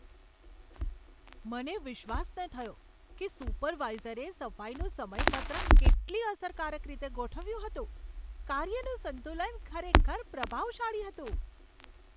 મને વિશ્વાસ ન થયો કે સુપરવાઇઝરે સફાઈનું સમયપત્રક કેટલી અસરકારક રીતે ગોઠવ્યું હતું! કાર્યનું સંતુલન ખરેખર પ્રભાવશાળી હતું.